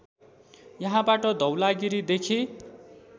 यहाँबाट धौलागिरीदेखि